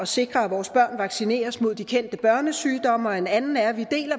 sikre at vores børn vaccineres mod de kendte børnesygdomme og en anden er at vi